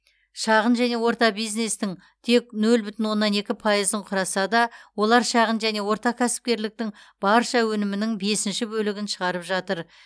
шағын және орта бизнестің тек нөл бүтін оннан екі пайызын құраса да олар шағын және орта кәсіпкерліктің барша өнімінің бесінші бөлігін шығарып жатыр